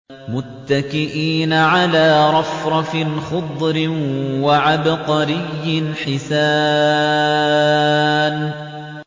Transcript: مُتَّكِئِينَ عَلَىٰ رَفْرَفٍ خُضْرٍ وَعَبْقَرِيٍّ حِسَانٍ